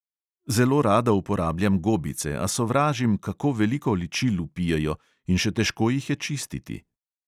Zelo rada uporabljam gobice, a sovražim, kako veliko ličil vpijejo, in še težko jih je čistiti.